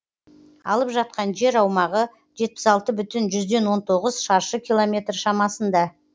алып жатқан жер аумағы жетпіс алты бүтін жүзден он тоғыз шаршы километр шамасында